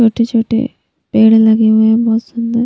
छोटे-छोटे पेड़ लगे हुए हैं बहुत सुंदर--